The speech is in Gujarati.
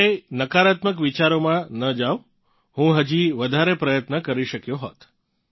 ક્યારેય નકારાત્મક વિચારોમાં ન જાવ હું હજી વધારે પ્રયત્નો કરી શકયો હોત